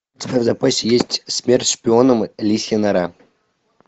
у тебя в запасе есть смерть шпионам лисья нора